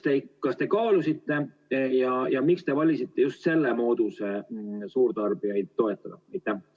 Kas te kaalusite ja miks te valisite just selle mooduse suurtarbijaid toetada?